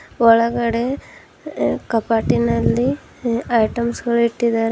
ಒಳಗಡೆ ಇ-ಇ ಕಪಾಟಿನಲ್ಲಿ ಐಟಮ್ಸ್ ಗಳು ಇಟ್ಟಿದ್ದಾರೆ.